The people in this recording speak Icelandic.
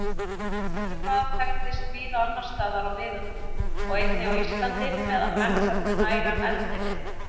Gufubað þekktist víða annarstaðar á miðöldum og einnig á Íslandi meðan menn höfðu nægan eldivið.